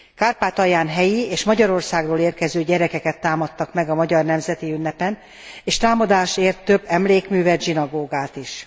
Kárpátalján helyi és Magyarországról érkező gyerekeket támadtak meg a magyar nemzeti ünnepen, és támadás ért több emlékművet, zsinagógát is.